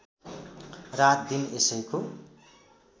रात दिन यसैको